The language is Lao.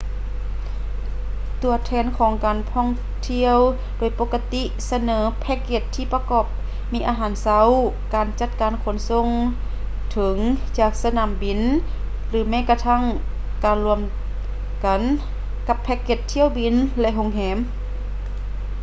ຕົວແທນການທ່ອງທ່ຽວໂດຍປົກກະຕິສະເໜີແພ້ກເກັດທີ່ປະກອບມີອາຫານເຊົ້າ ການຈັດການຂົນສົ່ງເຖິງ/ຈາກສະໜາມບິນ ຫຼື ແມ້ກະທັ້ງການລວມກັນກັບແພ້ກເກັດຖ້ຽວບິນ ແລະ ໂຮງແຮມ